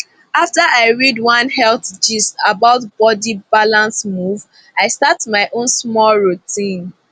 after i read one health gist about body balance move i start my own small routine